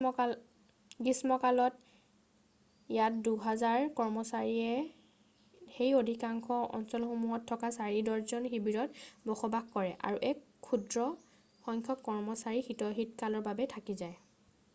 গ্ৰীষ্মকালত ইয়াত দুহাজাৰ কৰ্মচাৰীয়ে সেই অধিকাংশ অঞ্চলসমূহত থকা 4 ডৰ্জন শিৱিৰত বসবাস কৰে আৰু এক ক্ষুদ্ৰ সংখ্যক কৰ্মচাৰী শীতকালৰ বাবে থাকি যায়